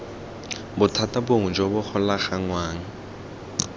bothata bongwe jo bo golaganngwang